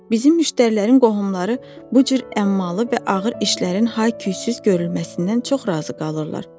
Bizim müştərilərin qohumları bu cür əmmalı və ağır işlərin hay-küyzüz görülməsindən çox razı qalırlar, cənab.